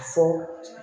A fɔ